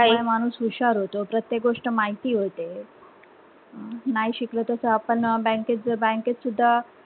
माणूस हुशार होतो प्रत्येक गोष्ट माहिती होते, नाही शिकलो तस आपण bank केत bank केत सुद्धा,